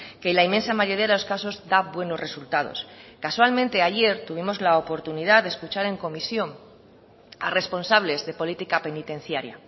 que la inmensa mayoría de los casos da buenos resultados casualmente ayer tuvimos la oportunidad de escuchar en comisión a responsables de política penitenciaria